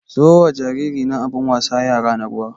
Siyo wa jariri na abun wasan yara na ruwa.